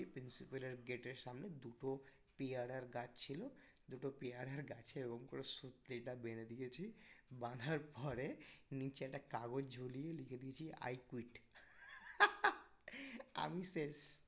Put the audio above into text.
principle এর গেটের সামনে দুটো পিয়ারার গাছ ছিল দুটো পিয়ারার গাছে ওরকম করে সুতলিটা বেঁধে দিয়েছি বাঁধার পরে নিচে একটা কাগজ ঝুলিয়ে লিখে দিয়েছি I quit আমি শেষ